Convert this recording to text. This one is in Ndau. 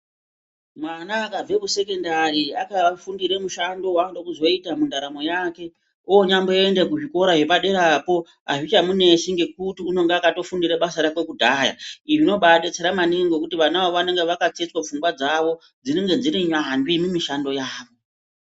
Mwana akabve kusekondari akafundire mushando waanoda kuzoita muntaramo yake onyamboenda kuzvikora zvepaderapo hazvichamunetsi ngekuti unonga akatofundire basa rake kudhaya, izvi zvinodetsera maningi ngekuti vana ava vanenge vakatsetswa pfungwa dzavo, dzinenge dziri nyambi mumishando yavo.